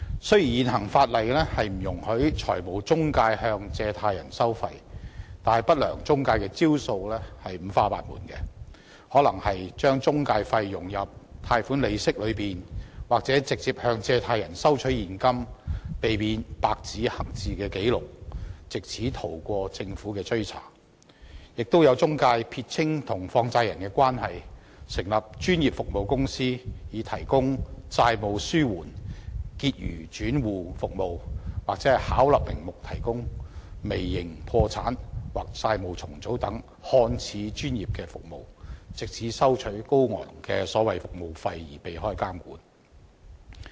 雖然現行法例不容許中介公司向借貸人收費，但不良中介公司的招數五花八門，可能會把中介費融入貸款利息，又或是直接向借貸人收取現金，避免白紙黑字的紀錄，藉此逃過政府的追查，更有中介公司撇清與放債人的關係，成立專業服務公司提供"債務紓緩"和"結餘轉戶"服務，或是巧立名目地提供"微型破產"或"債務重組"等看似專業的服務，藉此收取高昂的所謂服務費而避開監管。